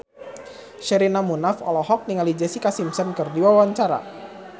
Sherina Munaf olohok ningali Jessica Simpson keur diwawancara